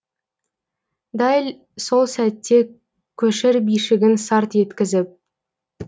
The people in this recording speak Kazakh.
дәл сол сәтте көшір бишігін сарт еткізіп